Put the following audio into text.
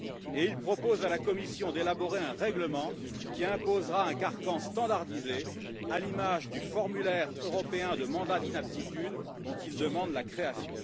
Et il propose à la Commission d'élaborer un règlement qui imposera un carcan standardisé, à l'image du formulaire européen de mandat d'inaptitude dont il demande la création.